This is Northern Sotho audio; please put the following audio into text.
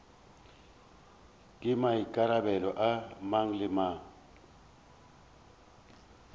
ke maikarabelo a mang le